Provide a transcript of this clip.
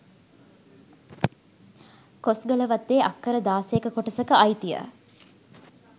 කොස්ගලවත්තේ අක්කර දාසයක කොටසක අයිතිය